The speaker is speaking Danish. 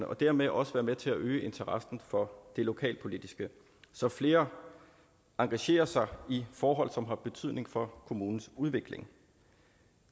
og dermed også være med til at øge interessen for det lokalpolitiske så flere engagerer sig i forhold som har betydning for kommunernes udvikling